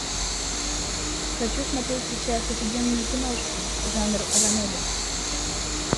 хочу смотреть сейчас офигенную киношку жанр ранобэ